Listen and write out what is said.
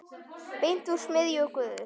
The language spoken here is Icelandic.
Beint úr smiðju Guðs.